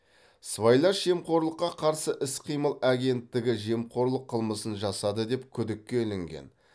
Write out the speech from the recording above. сыбайлас жемқорлыққа қарсы іс қимыл агенттігі жемқорлық қылмысын жасады деп күдікке ілінген